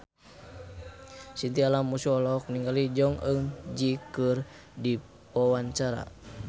Chintya Lamusu olohok ningali Jong Eun Ji keur diwawancara